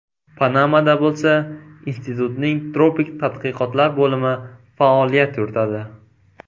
Panamada bo‘lsa institutning tropik tadqiqotlar bo‘limi faoliyat yuritadi.